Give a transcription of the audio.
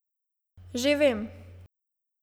Že vem!